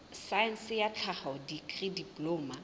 saense ya tlhaho dikri diploma